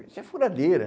Isso é furadeira.